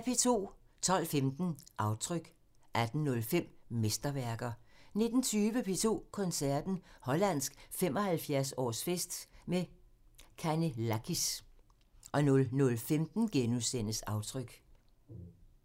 12:15: Aftryk 18:05: Mesterværker 19:20: P2 Koncerten – Hollandsk 75-årsfest med Canellakis 00:15: Aftryk *